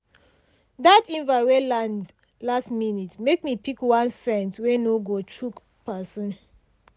that invite wey land last minute make me pick one scent wey no go choke person.